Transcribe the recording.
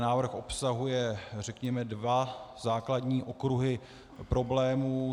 Návrh obsahuje, řekněme, dva základní okruhy problémů.